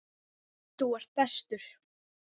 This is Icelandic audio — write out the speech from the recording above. Þú ert bestur.